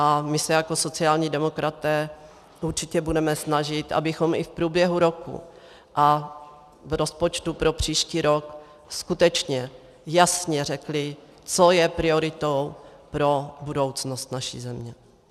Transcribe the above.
A my se jako sociální demokraté určitě budeme snažit, abychom i v průběhu roku a v rozpočtu pro příští rok skutečně jasně řekli, co je prioritou pro budoucnost naší země.